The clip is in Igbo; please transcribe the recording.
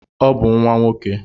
Ọ bụ nwa nwoke